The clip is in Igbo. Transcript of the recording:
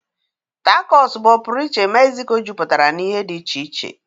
Tacos bụ ọpụrụiche Mexico jupụtara na ihe dị iche iche.